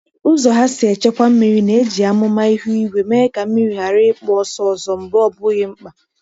Ụzọ ha si echekwa mmiri na-eji amụma ihu igwe mee ka mmiri ghara ịkpụ ọsọ ọsọ mgbe ọ bụghị mkpa.